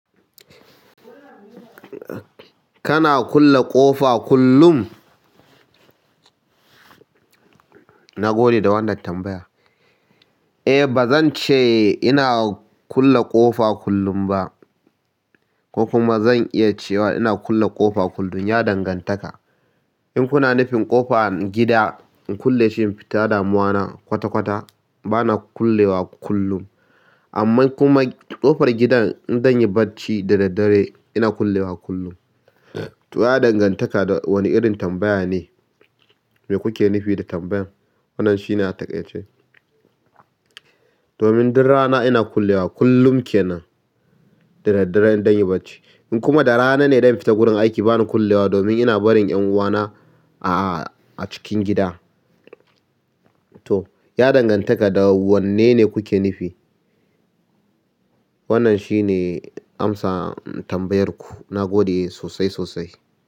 Kana kulle ƙofa kullum? Na gode da wannan tambaya. Eh, ba zan ce ina kulle ƙofa kullum ba ko kuma zan iya cewa ina kulle ƙofa kullum. Ya dangantaka in kuna nufin ƙofan gida in kulle shi in fita damuwa na kwata kwata bana kullewa kullum amma kuma ƙofar gidan idan yi barci da daddare ina kullewa kullum. To ya dangantaka da wane irin tambaya ne? Me kuke nufi da tambayar? Wannan shi ne a taƙaice. Domin duk rana ina kullewa kullum kenan da daddare idan zan yi barci. In kuma da rana ne dan fita gurin aiki bani kullewa domin ina barin 'yan uwana a cikin gida to ya dangantaka da wanne ne kuke nufi? Wannan shi ne amsa tambayarku. Na gode sosai, sosai.